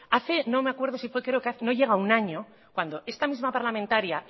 hace no me acuerdo creo que no llega a un año cuando esta misma parlamentaria